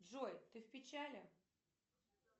джой ты в печали